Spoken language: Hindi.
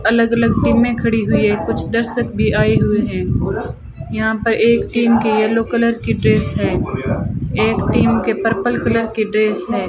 अलग अलग टीमें खड़ी हुई है कुछ दर्शक भी आए हुए हैं यहां पर एक टीम के येलो कलर के ड्रेस है एक टीम के पर्पल कलर के ड्रेस हैं।